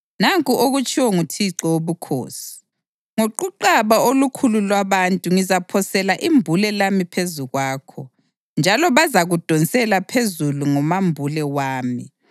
Nanku okutshiwo nguThixo Wobukhosi: Ngoquqaba olukhulu lwabantu ngizaphosela imbule lami phezu kwakho njalo bazakudonsela phezulu ngomambule wami.